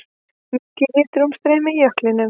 Mikið hitaútstreymi í jöklinum